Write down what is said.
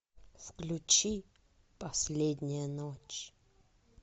включи последняя ночь